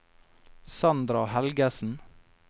Sandra Helgesen